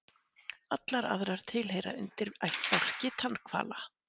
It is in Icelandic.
Allar aðrar tilheyra undirættbálki tannhvala.